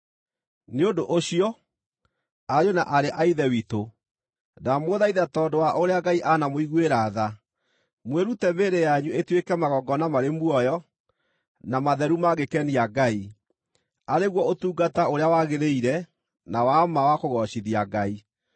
Nĩ ũndũ ũcio, ariũ na aarĩ a Ithe witũ, ndamũthaitha tondũ wa ũrĩa Ngai anamũiguĩra tha, mwĩrute mĩĩrĩ yanyu ĩtuĩke magongona marĩ muoyo, na matheru mangĩkenia Ngai, arĩ guo ũtungata ũrĩa wagĩrĩire na wa ma wa kũgoocithia Ngai.